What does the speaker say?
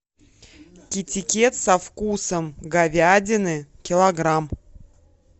китикет со вкусом говядины килограмм